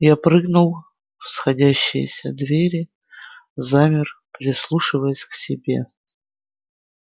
я прыгнул в сходящиеся двери замер прислушиваясь к себе